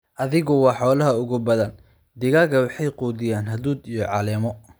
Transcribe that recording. Adhigu waa xoolaha ugu badan. Digaagga waxay quudiyaan hadhuudh iyo caleemo.